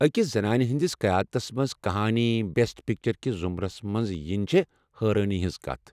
اكس زنانہِ ہنٛدِس قیادتس منٛز كہانی بٮ۪سٹ پیٚکچر کِس ضُمرس منٛز ینہٕ چھےٚ حٲران كُن خوشی ۔